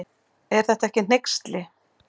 Er þetta ekki hneyksli.